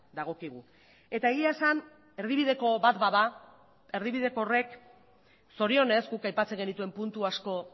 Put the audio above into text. dagokigu eta egia esan erdibideko bat bada erdibideko horrek zorionez guk aipatzen genituen puntu asko